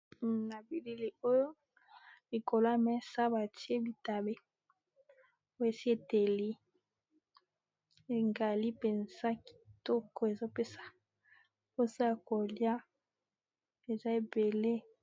Na , Bilili oyo ! likolo ya mesa batie bitabe esi eteli engali mpenza kitoko ! ezopesa mposa ya kolia , eza ebele...